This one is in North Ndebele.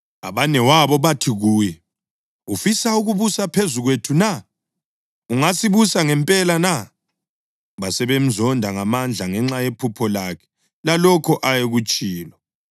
Abanewabo bathi kuye. “Ufisa ukubusa phezu kwethu na? Ungasibusa ngempela na?” Basebemzonda ngamandla ngenxa yephupho lakhe lalokho ayekutshilo.